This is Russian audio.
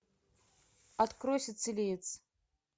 открой сицилиец